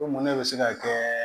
Ko mun ne bɛ se ka kɛ